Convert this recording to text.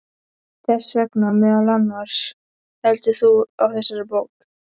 Þess vegna meðal annars heldur þú á þessari bók.